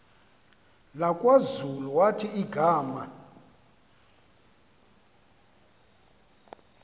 lakwazulu wathi igama